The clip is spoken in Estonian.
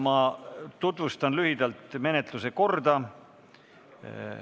Ma tutvustan lühidalt menetluse korda.